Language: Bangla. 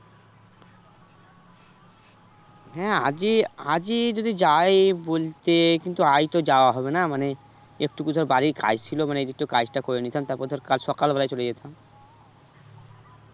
হ্যাঁ আজই আজই যদি যাই বলতে কিন্তু আজ তো যাওয়া হবে না মানে একটুকু ধর বাড়ির কাজ ছিল মানে এই একটু কাজটা করে নিতাম তারপর ধর কাল সকালবেলায় চলে যেতাম